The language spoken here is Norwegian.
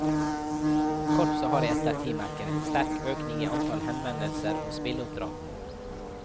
Korpset har i ettertid merket en sterk økning i antall henvendelser om spilleoppdrag.